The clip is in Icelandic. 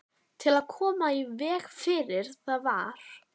Til að koma í veg fyrir það var